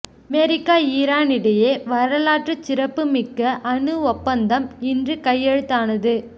America Iran இடையே வரலாற்றுச் சிறப்புமிக்க அணு ஒப்பந்தம் இன்று கையெழுத்தானது